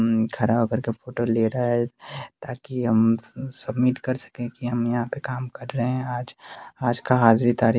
म्म खड़ा हो करके फोटो ले रहा है ताकि हम सम सबमिट कर सकें कि हम यहाँ पर काम कर रहे हैं आज आज का हाजिरी तारीक --